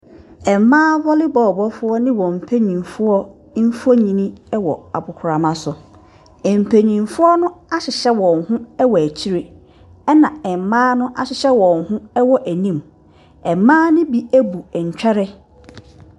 Mmea volley bɔɔlo bɔɔfoɔ ne wɔn mpanyinfoɔ mfoni ɔwɔ agopramaso mpanyinfoɔ hyehyɛ wɔn hɔ akyire ɛna mmea no ahyehyɛ wɔn hɔ wɔ anim mmea no bi ɛbu ntware.